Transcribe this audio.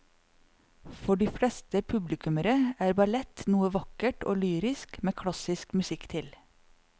For de fleste publikummere er ballett noe vakkert og lyrisk med klassisk musikk til.